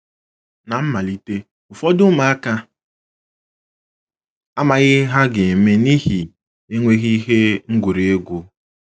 Ná mmalite, ụfọdụ ụmụaka amaghị ihe ha ga - eme n’ihi enweghị ihe ngwurị egwu.